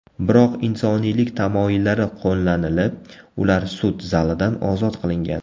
Biroq insoniylik tamoyillari qo‘llanilib, ular sud zalidan ozod qilingan.